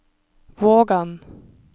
Vågan